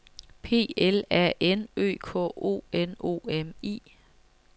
P L A N Ø K O N O M I